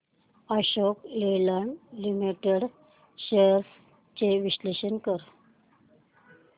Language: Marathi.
अशोक लेलँड लिमिटेड शेअर्स चे विश्लेषण कर